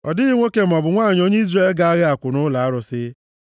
Ọ dịghị nwoke maọbụ nwanyị, onye Izrel ga-aghọ akwụna ụlọ arụsị.